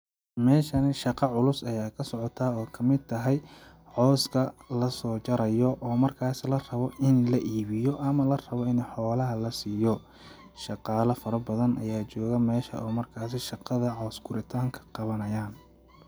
Meeshani shaqa culus ayaa ka socotaa oo kamid tahay cowska lasoo jarayo oo markaas la rabo in la iibiyo ama la rabo ini xoolaha la siiyo ,shaqaala fara badan ayaa jooga meesha oo markaasi shaqada cows guritaanka qawanayaan.